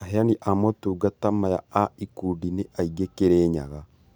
aheani a motungata maya a ikundi nĩ aingĩ Kirinyaga